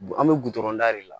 An bɛ gudɔrɔn da de la